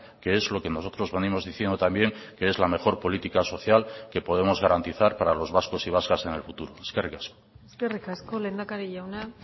que es lo que nosotros venimos diciendo también que es la mejor política social que podemos garantizar para los vascos y vascas en el futuro eskerrik asko eskerrik asko lehendakari jauna